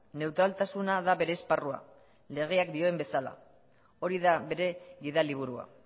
neutraltasuna da bere esparrua legeak dioen bezala hori da bere gidaliburua